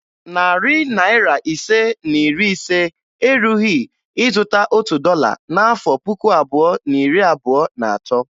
Narị naịra ise na iri ise erughi ịzụta otu dọla n'afọ puku abụọ na iri abụo na atọ.